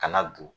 Kana don